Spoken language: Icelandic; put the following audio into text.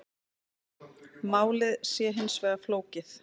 Málið sé hins vegar flókið